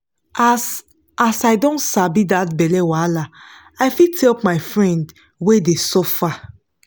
as as i don sabi that belle wahala i fit help my friend wey dey suffer.